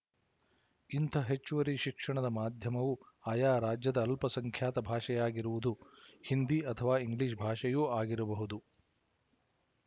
ಇಂಥ ಹೆಚ್ಚುವರಿ ಶಿಕ್ಷಣ ಮಾಧ್ಯಮವು ಆಯಾ ರಾಜ್ಯದ ಅಲ್ಪಸಂಖ್ಯಾತ ಭಾಷೆಯಾಗಿರುವುದು ಹಿಂದಿ ಅಥವಾ ಇಂಗ್ಲಿಶ ಭಾಷೆಯೂ ಆಗಿರಬಹುದು